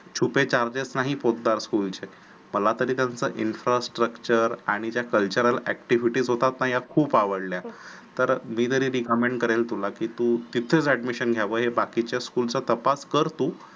छुपे charges नाहीत Podar school चे मला तरी त्यांचं infrastructure आणि त्या cultural activities होतात ना त्या खूप आवडल्या. तर मी recommend करेन की तुला तिथेच admission घ्यावं. बाकीच्या school चा तपास कर तू